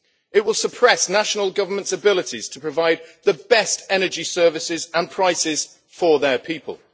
It will suppress national governments' abilities to provide the best energy services and prices for their people.